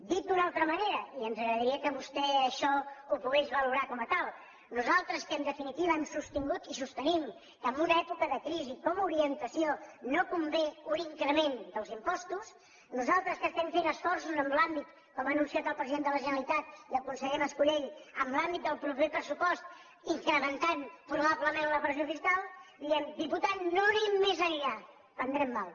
dit d’una altra manera i ens agradaria que vostè això ho pogués valorar com a tal nosaltres que en definitiva hem sostingut i sostenim que en una època de crisi com a orientació no convé un increment dels impostos nosaltres que estem fent esforços com han anunciat el president de la generalitat i el conseller mascolell en l’àmbit del proper pressupost incrementant probablement la pressió fiscal li diem diputat no anem més enllà prendrem mal